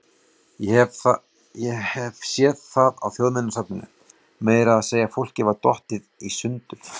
Ég hef séð það á Þjóðminjasafninu, meira að segja fólkið var dottið í sundur.